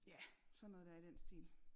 Ja sådan noget dér i den stil